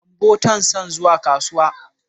Gambo tan son zuwa kasuwa.